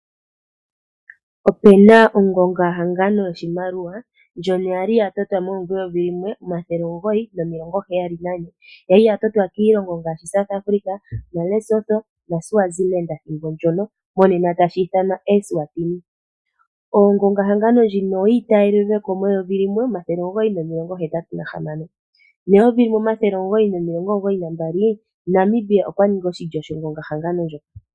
Opu na ongongahangano yoshimaliwa ndjono ya li ya totwa momuvo eyovi limwe, omathele omugoyi nomilongo heyali nane. Ya li ya totwa kiilongo ngaashi South Afrika, naLesotho naSwaziland ethimbo ndyono, monena tashi ithanwa Eswatini. Ongongahangano ndjino oyi itayelelwe ko meyovi limwe, omathele omugoyi nomilongo hetatu nahamano, neyovi limwe omathele omugoyi nomilongo omugoyi nambali, Namibia okwa ningi oshilyo shongongahangano ndjo.